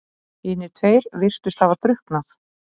Hinir tveir virtust hafa drukknað.